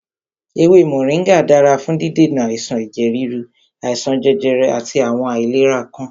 Ewé Mọ̀ríngà dára fún dídènà àìsàn ẹ̀jẹ̀ ríru, àìsàn jẹjẹrẹ àti àwọn àìlera ọkàn.